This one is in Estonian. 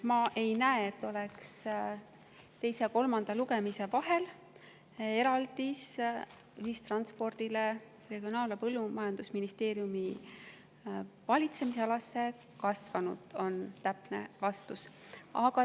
Ma ei näe, et teise ja kolmanda lugemise vahel oleks eraldis ühistranspordile Regionaal‑ ja Põllumajandusministeeriumi valitsemisalas kasvanud, on täpne vastus.